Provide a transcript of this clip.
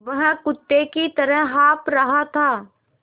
वह कुत्ते की तरह हाँफ़ रहा था